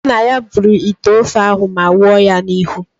Nna ya buru ite ofe ahụ ma wụọ ya n'ihu.